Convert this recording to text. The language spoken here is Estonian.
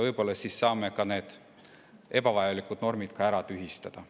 Võib-olla siis saame ka need ebavajalikud normid tühistada.